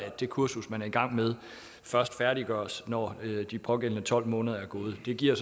det kursus man er i gang med først færdiggøres når de pågældende tolv måneder er gået det giver